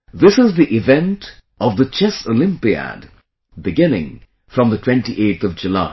This is the event of Chess Olympiad beginning from the 28th July